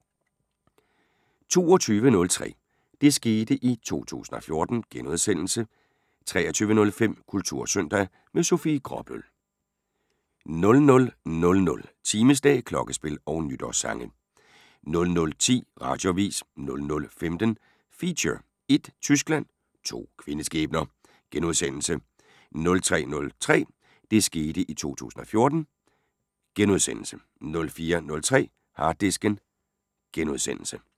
22:03: Det skete i 2014 * 23:05: Kultursøndag - med Sofie Gråbøl * 00:00: Timeslag, klokkespil og nytårssange 00:10: Radioavis 00:15: Feature: Ét Tyskland – to kvindeskæbner * 03:03: Det skete i 2014 * 04:03: Harddisken *